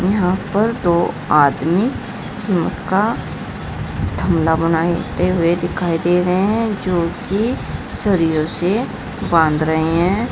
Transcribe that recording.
यहां पर दो आदमी सीमेंट का थमालां बनाते हुए दिखाई दे रहे हैं जो कि सरियों से बांध रहे हैं।